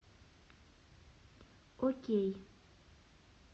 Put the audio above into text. окей